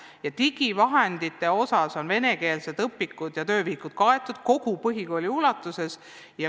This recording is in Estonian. Ja digivahendite osas on venekeelsed õpikud ja töövihikud kaetud kogu põhikooli ulatuses.